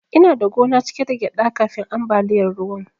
Ina da gona cike da gyaɗa kafin ambaliyar ruwan.